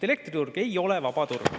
Elektriturg ei ole vaba turg.